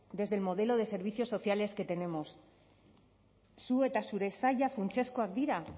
desde el modelo de servicios sociales que tenemos zu eta zure saila funtsezkoak dira